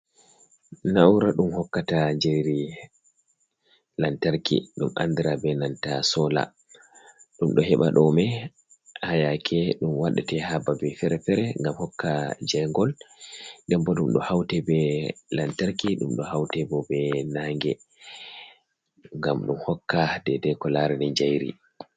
Na'ura ɗum hokkata jerri lantarki ɗum andira be nanta sola, ɗum ɗo heɓa ɗo me ha yake ɗum waɗa te ha babe fere-fere, ngam hokka je ngol, dem bo ɗum ɗo haute be lantarki, ɗum ɗo haute bo be nange, ngam ɗum hokka de dei ko larene jairi.